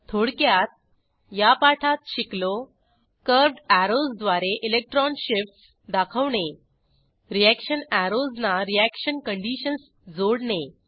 थोडक्यात या पाठात शिकलो कर्व्हड अॅरोज द्वारे इलेक्ट्रॉन शिफ्टस दाखवणे रीअॅक्शन अॅरोजना रीअॅक्शन कंडिशन्स जोडणे